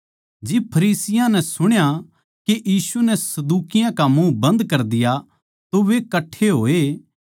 जिब फरिसियाँ नै सुण्या के यीशु नै सदूकियाँ का मुँह बन्द कर दिया तो वे कट्ठे होए